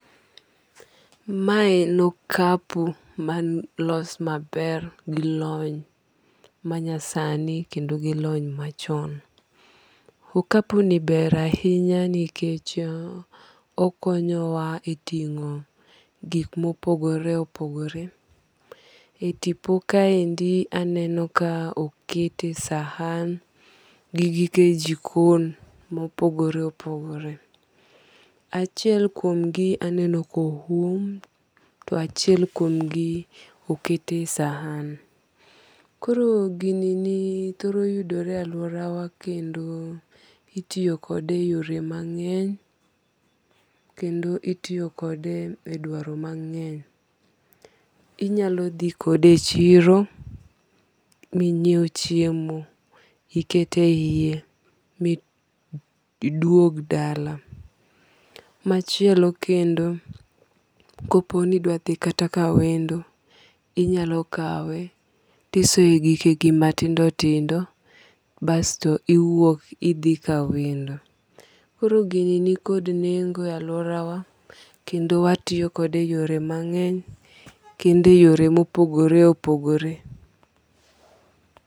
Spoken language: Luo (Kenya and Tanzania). Ma en okapu ma olos maber gi lony manyasani kendo gi lony machon. Okapu ni ber ahinya nikech okonyo wa e ting'o gik mopogore opogore. E tipo ka endi aneno ka okete sahan gi gike jikon mopogore opogore. Achiel kuom gi anenoo ko oum. To achiel kuom gi okete sahan. Koro gini thoro yudore e aluora wa kendo itiyo kode e yore mang'eny kendo itiyo kode e dwaro mang'eny. Inyalo dhi kode echiro minyiew chiemo ikete yie miduog dala. Machielo kendo, kopo ni idwa dhi kata ka wendo inyalo kawe tisoye gikegi matindo tindo basto iwuok idhi ka wendo. Koro gini ni kod nengo e aluora wa kendo watiyo kode e yore mang'eny kendo e yore mopogore opogore.